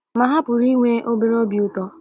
Ma ha pụrụ inwe obere obi ụtọ.